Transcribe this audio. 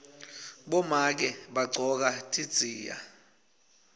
bomake bagcoka tidziya